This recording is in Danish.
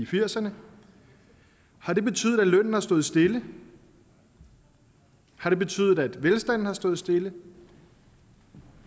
firserne har det betydet at lønnen har stået stille har det betydet at velstanden har stået stille